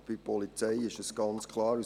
Aber bei der Polizei ist es ganz klar: